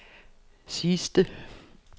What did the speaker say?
sidste